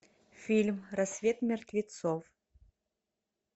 фильм рассвет мертвецов